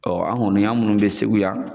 an kɔni an minnu bɛ Segu yan